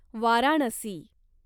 Varanasi